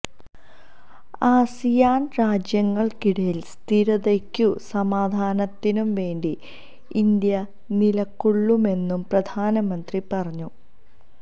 ആസിയാന് രാജ്യങ്ങള്ക്കിടയില് സ്ഥിരതക്കും സമാധാനത്തിനും വേണ്ടി ഇന്ത്യ നിലകൊള്ളുമെന്നും പ്രധാനമന്ത്രി പറഞ്ഞു